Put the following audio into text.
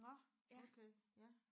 Nåh okay ja